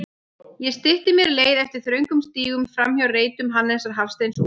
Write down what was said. Ég stytti mér leið eftir þröngum stígum, framhjá reitum Hannesar Hafsteins og